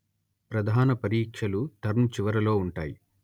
ప్రధాన పరీక్షలు టర్మ్ చివరలో ఉంటాయి